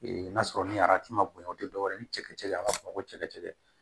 n'a sɔrɔ ni arati ma bonya o te dɔwɛrɛ ye ni cɛkɛ a b'a fɔ ma ko cɛ ka cɛcɛ